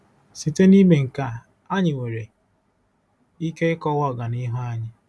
Site n'ime nke a, anyị nwere ike ịkọwa ọganihu anyị.